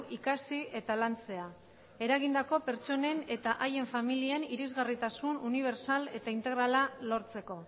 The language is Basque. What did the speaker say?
ikasi eta lantzea eragindako pertsonen eta haien familian irisgarritasun unibertsal eta integrala lortzeko